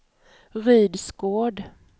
Rydsgård